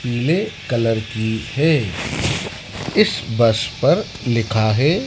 पीले कलर की है इस बस पर लिखा है--